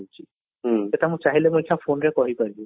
ସେଇଟା ଚାହିଁଲେ ବି ଇଚ୍ଛା phone ପାରିବି